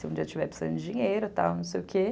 Se um dia eu tiver precisando de dinheiro, tal, não sei o quê.